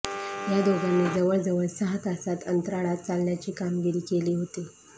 या दोघांनी जवळजवळ सहा तासात अंतराळात चालण्याची कामगिरी केली होती